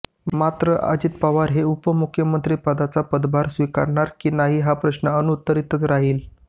मात्र अजित पवार हे उपमुख्यमंत्रीपदाचा पदभार स्वीकारणार की नाहीत हा प्रश्न अनुत्तरीतच राहिला